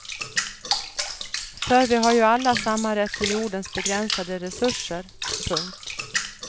För vi har ju alla samma rätt till jordens begränsade resurser. punkt